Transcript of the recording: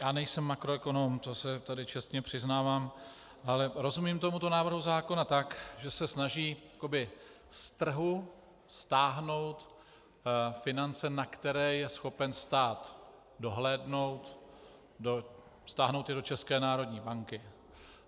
Já nejsem makroekonom, to se tady čestně přiznávám, ale rozumím tomuto návrhu zákona tak, že se snaží jako z trhu stáhnout finance, na které je schopen stát dohlédnout, stáhnout je do České národní banky.